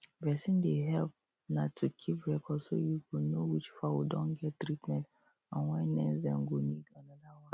vaccin dey help na to keep record so you go know which fowl don get treatment and when next dem go need another one